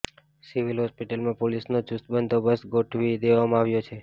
civil હોસ્પિટલમાં પોલીસનો ચૂસ્ત બંદોબસ્ત ગોઠવી દેવામાં આવ્યો છે